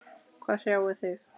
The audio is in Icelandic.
Hvað hrjáir þig?